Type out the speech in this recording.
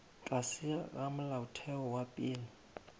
tlase ga molaotheo wa pele